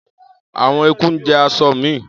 àwọn eku jẹ aṣọ mi